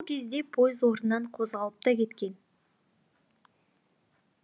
бұл кезде пойыз орнынан қозғалып та кеткен